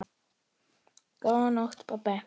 Góða nótt, pabbi.